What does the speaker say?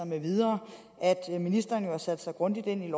med videre at ministeren har sat sig grundigt ind i